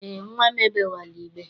Eé, nnwa m egbewela igbe.